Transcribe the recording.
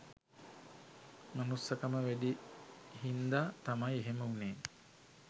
මනුස්සකම වැඩි හින්ද තමයි එහෙම උනේ.